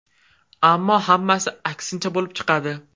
Ammo hammasi aksincha bo‘lib chiqadi.